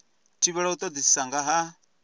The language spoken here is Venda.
thivhelwa u todisisa nga ha